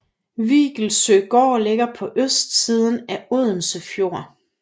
Viggelsøgård ligger på østsiden af Odense Fjord